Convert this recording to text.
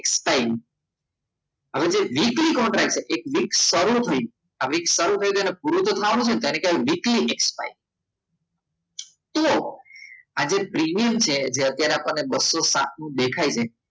expired હવે જે રીતે કોન્ટ્રાક્ટ છે ફરી શરૂ કરું છું આ સારું થયું એટલે પૂરું તો થવાનું છે ને ધારો કે weekly તો આજે પ્રીમિયમ છે જે આપણને બસો સાત નું દેખાય છે